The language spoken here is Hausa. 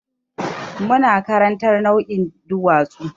Muna karantar nau'ikan duwatsu.